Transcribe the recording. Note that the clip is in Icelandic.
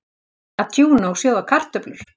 Að tjúna og sjóða kartöflur